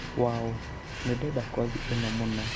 wow! nĩ ndenda kothi ĩno mũno